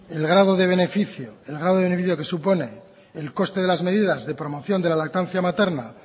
el grado de beneficio que supone el coste de las medidas de promoción de la lactancia materna